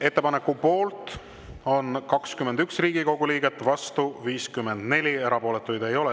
Ettepaneku poolt on 21 Riigikogu liiget, vastu 54, erapooletuid ei ole.